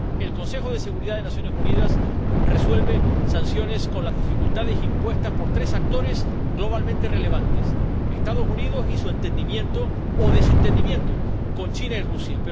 El Consejo de Seguridad de Naciones Unidas resuelve sanciones con las dificultades impuestas por tres actores globalmente relevantes Estados Unidos y su entendimiento o desentendimiento con China y Rusia.